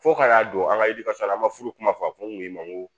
Fo ka n'a don an ka yirikɔta la an ma furu kuma fɔ a fɔ n kun y'i ma n ko